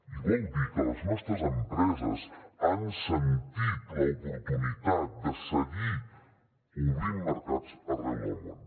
i vol dir que les nostres empreses han sentit l’oportunitat de seguir obrint mercats arreu del món